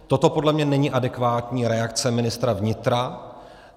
Toto podle mě není adekvátní reakce ministra vnitra.